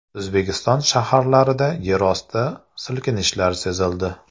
O‘zbekiston shaharlarida yerosti silkinishlari sezildi.